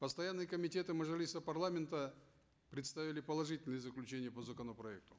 постоянные комитеты мажилиса парламента представили положительное заключение по законопроекту